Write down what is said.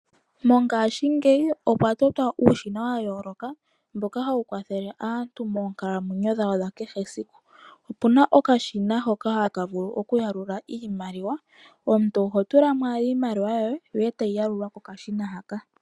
Mongashingeyi okwa totwa uushina wa yooloka, mboka hawu kwathele aantu moonkalamwenyo dha kehe esiku. Opuna okashina hoka haka vulu oku yalula iimaliwa, omuntu oho tulamo iimaliwa yoye yo tayi yalulwa kokashina haka.